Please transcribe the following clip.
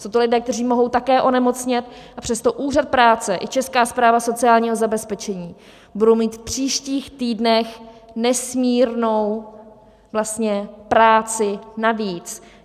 Jsou to lidé, kteří mohou také onemocnět, a přesto Úřad práce i Česká správa sociálního zabezpečení budou mít v příštích týdnech nesmírnou práci navíc.